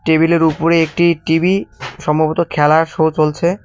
টেবিলের উপরে একটি টিবি সম্ভবত খেলার শো চলছে।